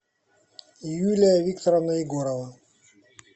юлия викторовна егорова